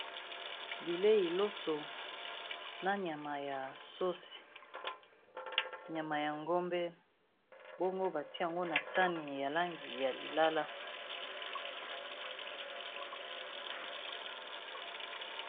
Bilei loso, na nyama ya sauce, nyama ya ngombe, bongo ba tié yango na sani ya langi ya lilala .